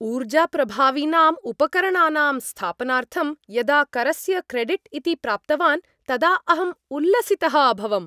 ऊर्जाप्रभावीनाम् उपकरणानां स्थापनार्थं यदा करस्य क्रेडिट् इति प्राप्तवान् तदा अहम् उल्लसितः अभवम्।